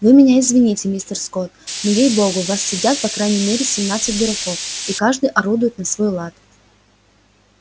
вы меня извините мистер скотт но ей богу в вас сидят по крайней мере семнадцать дураков и каждый орудует на свой лад